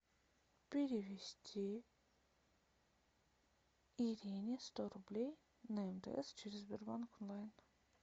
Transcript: перевести ирине сто рублей на мтс через сбербанк онлайн